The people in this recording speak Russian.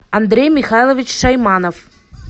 андрей михайлович шайманов